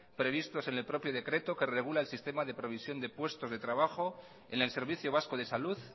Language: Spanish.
previstos en el propio decreto que regula el sistema de provisión de puestos de trabajo en el servicio vasco de salud